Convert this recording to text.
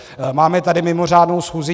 Máme tady mimořádnou schůzi.